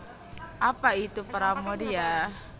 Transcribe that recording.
Apa Itu Pramoedya